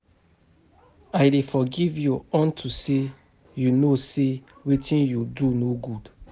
I dey forgive you unto say you know say wetin you do no good